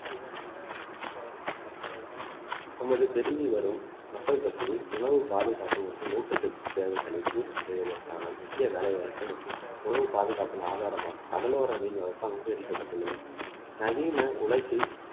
நமது பெருகி வரும் மக்கள் தொகையில் உணவு பாதுகாப்பு மற்றும் ஊட்டச்சத்து தேவைகளை பூர்த்தி செய்வதற்கான முக்கிய வேலை வாய்ப்பு மற்றும் உணவு பாதுகாப்பின் ஆதாரமாக கடலோர மீன் வளர்ப்பு அங்கீகரிக்கப்பட்டுள்ளது நவீன உலகில்